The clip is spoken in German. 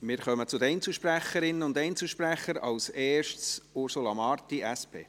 Wir kommen zu den Einzelsprecherinnen und Einzelsprechern, zuerst zu Ursula Marti, SP.